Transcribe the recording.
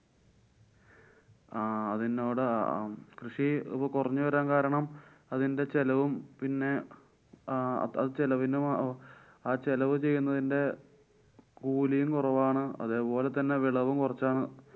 ആഹ് അതിനോടാ കൃഷി കൊറഞ്ഞു വരാന്‍ കാരണം അതിന്‍ടെ ചെലവും പിന്നെ ആഹ് അത് ചെലവിനും ആ ചെലവു ചെയ്യുന്നതിന്‍ടെ കൂലീം കൊറവാണ്. അതേപോലെതന്നെ വിളവും കുറച്ചാണ്.